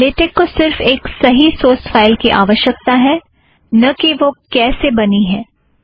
LaTeX को सिर्फ़ एक सही सोर्स फ़ाइल की आवश्यकता है न कि वह कैसे बना है